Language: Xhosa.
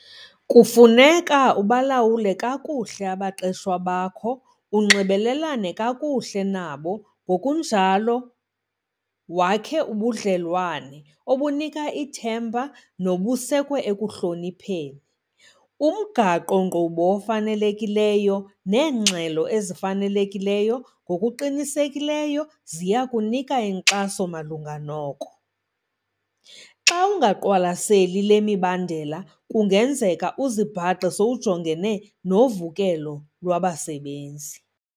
Kufuneka ubalawule kakuhle abaqeshwa bakho, unxibelelane kakuhle nabo ngokunjalo wakhe ubudlelwane obunika ithemba nobusekwe ekuhloniphaneni. Umgaqo-nkqubo ofanelekileyo neengxelo ezifanelekileyo ngokuqinisekileyo ziya kunika inkxaso malunga noku. Xa ungayiqwalaseli le mibandela kungenzeka uzibhaqe sowujongene novukelo lwabasebenzi.